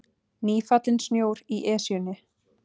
Nýfallinn snjór í Esjunni